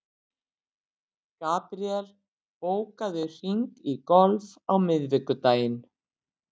Gabríel, bókaðu hring í golf á miðvikudaginn.